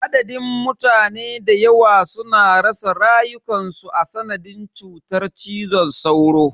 Adadin mutane dayawa suna rasa rayukansu a sanadin cutar cizon sauro.